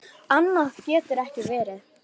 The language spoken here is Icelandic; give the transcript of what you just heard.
Annað getur ekki verið.